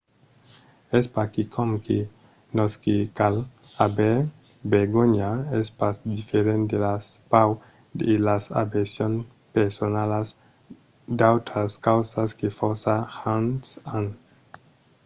es pas quicòm que nos ne cal aver vergonha: es pas diferent de las paurs e las aversions personalas d'autras causas que fòrça gents an